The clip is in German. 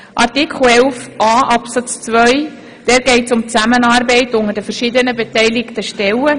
In Artikel 11a Absatz 2 geht es um die Zusammenarbeit der verschiedenen beteiligten Stellen.